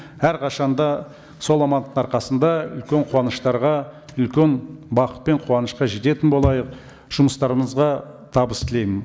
әрқашан да сол амандықтың арқасында үлкен қуаныштарға үлкен бақыт пен қуанышқа жететін болайық жұмыстарыңызға табыс тілеймін